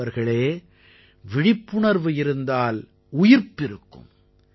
நண்பர்களே விழிப்புணர்வு இருந்தால் உயிர்ப்பிருக்கும்